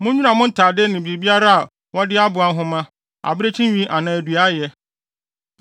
Munnwira mo ntade ne biribiara a wɔde aboa nhoma, abirekyi nwi anaa dua ayɛ.”